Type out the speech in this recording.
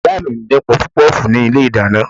Ìyá mi ń dín pọpọ́fùù ní ilé-ìdáná